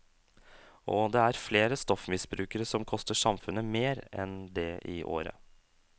Og det er flere stoffmisbrukere som koster samfunnet mer enn det i året.